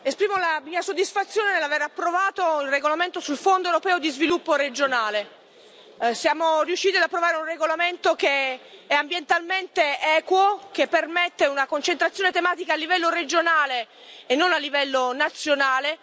Signora Presidente, onorevoli colleghi, esprimo la mia soddisfazione nell'aver approvato il regolamento sul Fondo europeo di sviluppo regionale. Siamo riusciti ad approvare un regolamento che è ambientalmente equo, che permette una concentrazione tematica a livello regionale e non a livello nazionale.